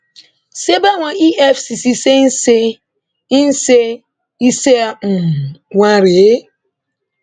se báwọn efcc se ń se ń ṣe iṣẹ um wọn rèé